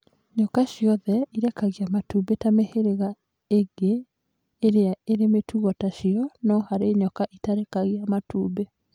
Nyoka ciothe irekagia matumbĩ ta mĩhĩrĩga ĩngĩ ĩrĩa ĩrĩ mĩtugo tacio, no harĩ nyoka ĩtarekagia matumbĩ.